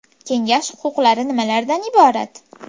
Kengash huquqlari nimalardan iborat?